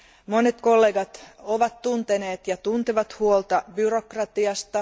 Monet kollegat ovat tunteneet ja tuntevat huolta byrokratiasta.